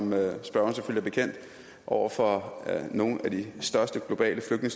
med jo står over for nogle af de største globale